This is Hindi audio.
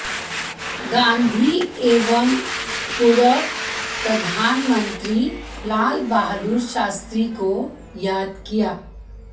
गांधी एवं पूर्व प्रधानमंत्री लाल बहादुर शास्त्री को याद किया